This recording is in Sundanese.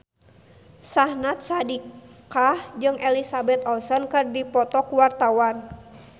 Syahnaz Sadiqah jeung Elizabeth Olsen keur dipoto ku wartawan